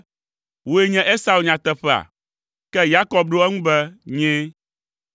“Woe nye Esau nyateƒea?” Ke Yakob ɖo eŋu be, “Nyee!”